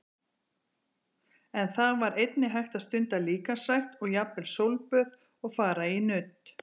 En þar var einnig hægt að stunda líkamsrækt og jafnvel sólböð og fara í nudd.